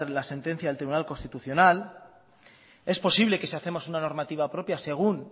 la sentencia del tribunal constitucional es posible que si hacemos una normativa propia según